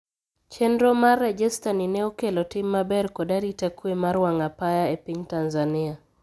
Chendro mar rejesta ni ne okelo tim maber kod arita kwee mar wang'apaya epiny Tanzania.